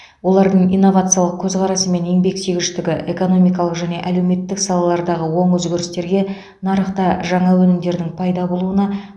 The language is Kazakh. олардың инновациялық көзқарасы мен еңбексүйгіштігі экономикалық және әлеуметтік салалардағы оң өзгерістерге нарықта жаңа өнімдердің пайда болуына